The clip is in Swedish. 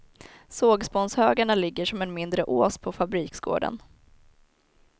Sågspånshögarna ligger som en mindre ås på fabriksgården.